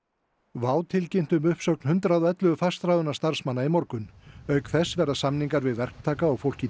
WOW tilkynnti um uppsögn hundrað og ellefu fastráðinna starfsmanna í morgun auk þess verða samningar við verktaka og fólk í